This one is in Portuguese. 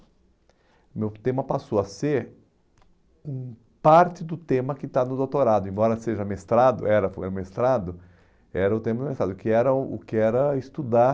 O meu tema passou a ser hum parte do tema que está no doutorado, embora seja mestrado, era é mestrado, era o tema do mestrado, que era o o que era estudar,